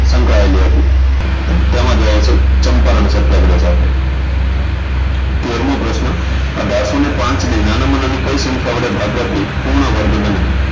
સંકળાયેલી હતી તેમાં જવાબ આવશે ચંપારણ સત્યાગ્રહ સાથે તેરમો પ્રશ્ન અઢારસો ને પાંચ નાનામાં નાની કઈ સંખ્યા વડે ભાગવાથી પૂર્ણવર્ગ બને